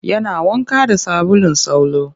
Yana wanka da sabulun salo